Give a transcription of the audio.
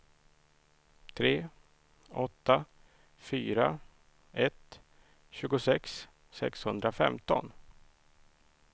tre åtta fyra ett tjugosex sexhundrafemton